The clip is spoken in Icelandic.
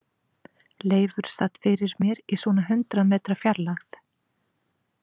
Leifur sat fyrir mér í svona hundrað metra fjarlægð.